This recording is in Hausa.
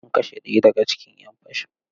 An kashe ɗaya daga cikin ‘yan fashin.